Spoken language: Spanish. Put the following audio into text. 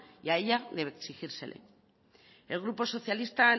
y a ella de exigírsele el grupo socialista